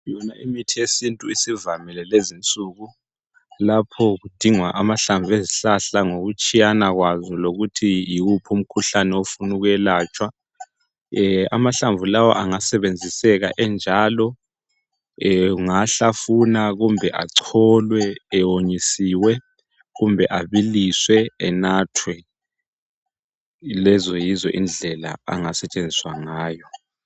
Yona imithi yesintu isivalile lezinsuku lapho kudingwa amahlamvu ezihlahla ngokutshiyana kwazo, lokuthi yiwuphi umkhuhlane ofunu kwelatshwa. Amahlamvu lawa angasebenziseka enjalo ungawahlafuna kumbe acholwe ewonyisiwe kumbe abiliswe. Enathwe , lezo yizo indlela ngasetshenziswa ngayo.